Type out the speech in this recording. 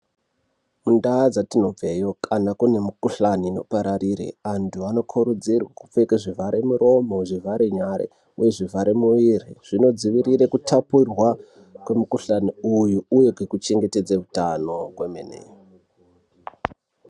Kundau dzatinobveyo kana kune mukhuhlani inopararire antu anokurudzirwa kupfeka zvivhare miromo, zvivhare nyara uye zvivhare mwiri zvinodzivire kuthapurwa kwemukhuhlani uyu uye kekuchengetedze utano kwemene.